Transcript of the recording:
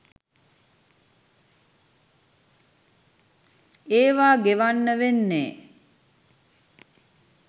ඒවා ගෙවන්න වෙන්නේ